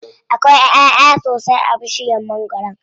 Akwai ƴaʼya sosai a bishiyar mangwaron.